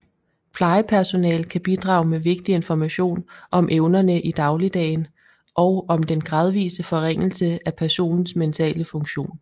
Plejepersonale kan bidrage med vigtig information om evnerne i dagligdagen og om den gradvise forringelse af personens mentale funktion